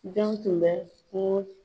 Jɔn tun bɛ fooo.